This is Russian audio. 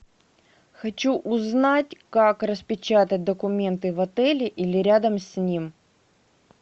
хочу узнать как распечатать документы в отеле или рядом с ним